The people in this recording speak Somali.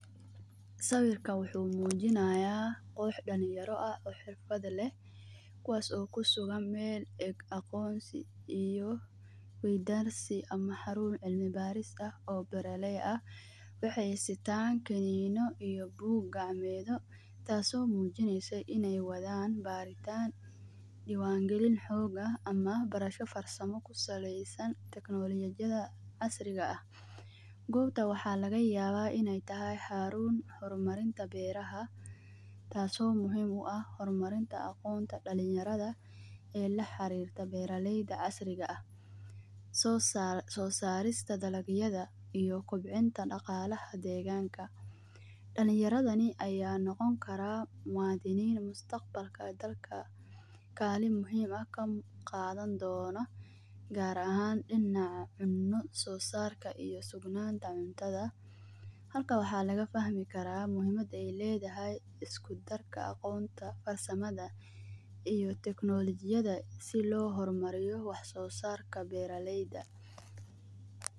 Sawirkaan wuxu mujinaya qoox dalinyaro aah oo xirfaad leeh kuwas oo kusugan meel aqonsi iyo wedansi ama xarun cilmi baris aah oo beer lay aah waxay sitaan kanino iyo boog gacamedho taas o mujinaysa inay wadan baritaan diwangalin xoog ah ama barasho farsama kusalaysan teknolojidha casriga aah. Goobta waxa laga yaba inay tahay xarun hormarinta beeraha taaso muhimu aah hormarin ta dalinyaradha ee laxarirta beer layda casriga aah. So sarista daalag yadha iyo kobcinta dagalaha deeganka. Dalinyaradhani aya noqoni karaa mwadhanin mustaqabalka dalka kalin muhiim aah kaqadhani doono gaar ahan dinaca cunodha sosarka iyo sugnanta cuntadha marka waxa laga fahmi karaa muhiimada ay ledahay iskutarka aqoonta farsamada iyo technolojiyadha sidhi loo hormariyo wax sosaarka beera layda.